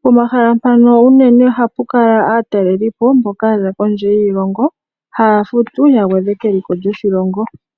Pomahala mpano unene oha pu kala aatalelipo mboka ya za kondje yiilongo, haa futu ya gwedhe keliko lyoshilongo.